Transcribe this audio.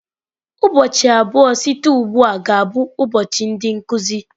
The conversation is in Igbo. Ụbọchị abụọ site ugbu a ga-abụ ụbọchị ndị nkuzi.